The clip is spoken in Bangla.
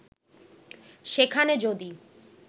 সেখানে যদি